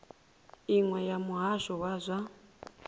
iṅwe ya muhasho wa zwa